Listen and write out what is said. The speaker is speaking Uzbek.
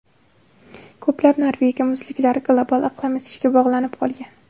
Ko‘plab Norvegiya muzliklari global iqlim isishiga bog‘lanib qolgan.